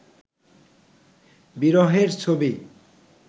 বিরহের ছবি